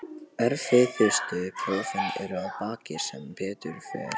Erfiðustu prófin eru að baki sem betur fer.